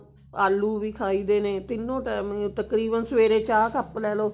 ਆਲੂ ਵੀ ਖਾਈਦੇ ਨੇ ਤਿੰਨੋਂ ਟੇਮ ਤਕਰੀਬਨ ਸਵੇਰੇ ਚਾਹ ਕੱਪ ਲੈਲੋ